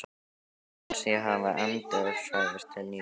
Mér fannst ég hafa endurfæðst til nýs lífs.